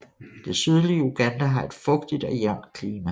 Det sydlige Uganda har et fugtigt og jævnt klima